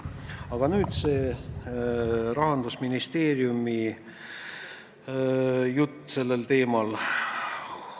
Aga nüüd Rahandusministeeriumi jutt sellel teemal.